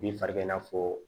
Bin faga n'a fɔ